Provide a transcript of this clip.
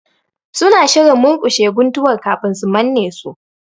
Suna shirin murƙushe guntuwar kafin su manne su